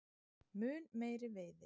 Mun meiri veiði